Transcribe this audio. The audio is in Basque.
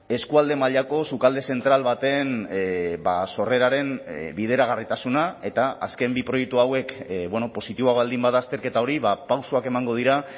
eskualde mailako sukalde zentral baten sorreraren bideragarritasuna eta azken bi proiektu hauek positiboa baldin bada azterketa hori pausoak emango dira